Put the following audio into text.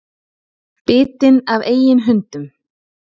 Bitinn af eigin hundum